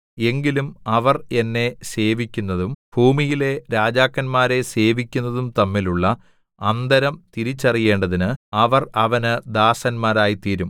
എങ്കിലും അവർ എന്നെ സേവിക്കുന്നതും ഭൂമിയിലെ രാജാക്കന്മാരെ സേവിക്കുന്നതും തമ്മിലുള്ള അന്തരം തിരിച്ചറിയേണ്ടതിന് അവർ അവന് ദാസന്മാരായിത്തീരും